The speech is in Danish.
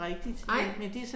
Nej